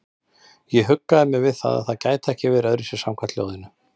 Ég huggaði mig við að það gæti ekki öðruvísi verið samkvæmt ljóðinu.